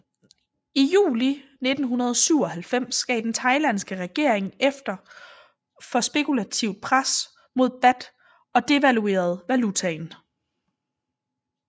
I juli 1997 gav den thailandske regering efter for spekulativt pres mod baht og devaluerede valutaen